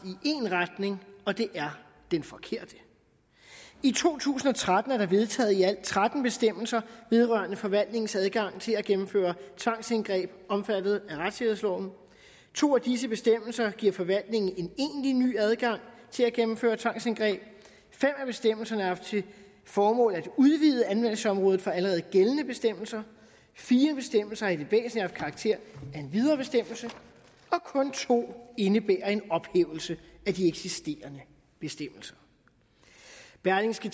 i én retning og det er den forkerte i to tusind og tretten blev der vedtaget i alt tretten bestemmelser vedrørende forvaltningens adgang til at gennemføre tvangsindgreb omfattet af retssikkerhedsloven to af disse bestemmelser giver forvaltningen en egentlig ny adgang til at gennemføre tvangsindgreb fem af bestemmelserne har haft til formål at udvide anvendelsesområdet for allerede gældende bestemmelser fire bestemmelser har i det væsentlige haft karakter af en videre bestemmelse og kun to indebærer en ophævelse af de eksisterende bestemmelser berlingske